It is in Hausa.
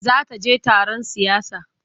Za ta je taron siyasa.